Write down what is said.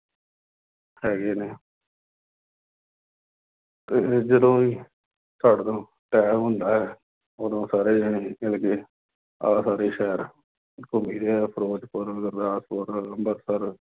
ਹੈਗ ਨੇ ਅਤੇ ਜਦੋਂ ਹੀ ਸਾਡੇ ਕੋਲ time ਹੁੰਦਾ ਹੈ, ਉਦੋਂ ਸਾਰੇ ਜਣੇ ਮਿਲ ਕੇ ਆ ਸਾਡੇ ਸ਼ਹਿਰ ਘੁੰਮੀ ਦਾ, ਫਿਰੋਜ਼ਪੁਰ, ਗੁਰਦਾਸਪੁਰ, ਅੰਮ੍ਰਿਤਸਰ